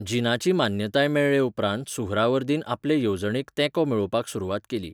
जिनाची मान्यताय मेळ्ळेउपरांत सुहरावर्दीन आपले येवजणेक तेंको मेळोवपाक सुरवात केली.